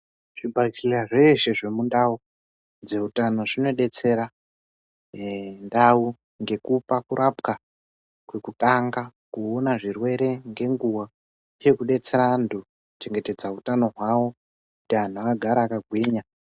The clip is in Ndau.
Zvibhajeya zveeshe zvemundau dzeutano, zvinodetsera ere ndau ngekupa kurapwa kwekutanga ,kuona zvirwere ngenguwa ,uye kudetsera antu kuchengetedza utano hwavo, kuti anhu agare akagwinya.